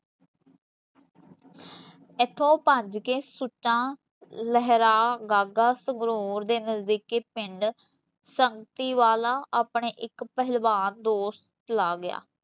ਐਥੋ ਭੱਜ ਕੇ ਸੁੱਚਾ ਲੇਹਰਾਂ ਗਾਂਗਾ, ਸੰਗਰੂਰ ਦੇ ਨਜ਼ਦੀਕੀ ਪਿੰਡ ਬਾਗ ਕੇ ਸੁਚਾ ਲੇਹਰਾ ਗਗਾ ਦੇ ਨਜਦੀਕੀ ਪਿੰਡ ਸੰਕਤੀ ਵਾਲਾ ਆਪਣੇ ਏਕ ਦਸੋਟ ਚਲਾ ਗਯਾ